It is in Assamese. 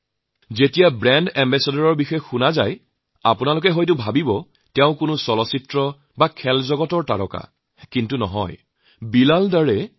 যেতিয়াই ব্ৰেণ্ড এম্বেছাডৰৰ কথা মনলৈ আহে তেতিয়াই আপোনালোকে ভাবে তেওঁ চিনেমাৰ শিল্পী বা খেল জগতৰ কোনো হিৰো কিন্তু সেয়া সত্য নহয়